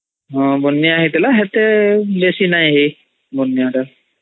ହଁ ବନ୍ୟା ହଇଥିଲା ସେତେ ବେସୀ ନାଇ ହୋଇ ବନ୍ୟା ଟା